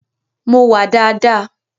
Mo wà daadaa.